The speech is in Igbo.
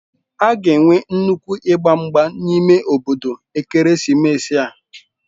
A ga-enwe nnukwu ịgba mgba n'ime obodo ekeresimesi a.